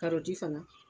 fana